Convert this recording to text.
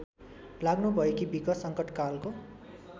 लाग्नुभएकी बिक संकटकालको